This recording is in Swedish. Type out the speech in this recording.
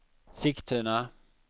Sigtuna